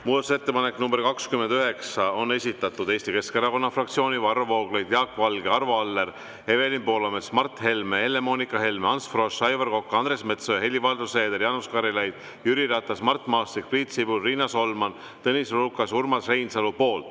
Muudatusettepaneku nr 29 on esitanud Eesti Keskerakonna fraktsioon, Varro Vooglaid, Jaak Valge, Arvo Aller, Evelin Poolamets, Mart Helme, Helle-Moonika Helme, Ants Frosch, Aivar Kokk, Andres Metsoja, Helir-Valdor Seeder, Jaanus Karilaid, Jüri Ratas, Mart Maastik, Priit Sibul, Riina Solman, Tõnis Lukas ja Urmas Reinsalu.